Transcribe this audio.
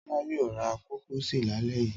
Tọ́lá yóò ra kúkísì lálẹ́ yìí.